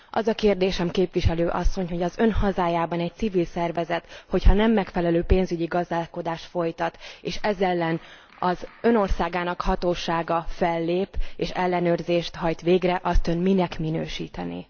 Az a kérdésem, képviselőasszony, hogy az Ön hazájában egy civil szervezet, ha nem megfelelő gazdálkodást folytat, és ez ellen az Ön országának hatósága fellép, és ellenőrzést hajt végre, azt Ön minek minősítené?